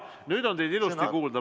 Jaa, nüüd on teid ilusti kuulda.